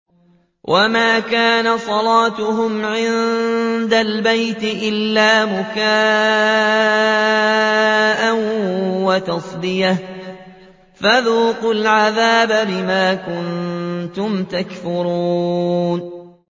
وَمَا كَانَ صَلَاتُهُمْ عِندَ الْبَيْتِ إِلَّا مُكَاءً وَتَصْدِيَةً ۚ فَذُوقُوا الْعَذَابَ بِمَا كُنتُمْ تَكْفُرُونَ